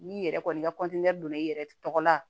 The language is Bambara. N'i yɛrɛ kɔni ka donna i yɛrɛ tɔgɔ la